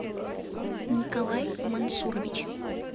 николай мансурович